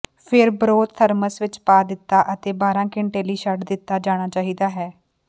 ਫਿਰ broth thermos ਵਿੱਚ ਪਾ ਦਿੱਤਾ ਅਤੇ ਬਾਰ੍ਹਾ ਘੰਟੇ ਲਈ ਛੱਡ ਦਿੱਤਾ ਜਾਣਾ ਚਾਹੀਦਾ ਹੈ